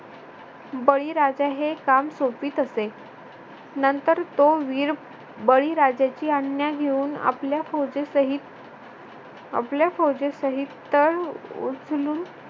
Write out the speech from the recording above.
हे काम सोपवीत असे नंतर तो वीर बळी राजाची आज्ञा घेऊन आपल्या फौजेसहित आपल्या फौजेसहित अह उचलून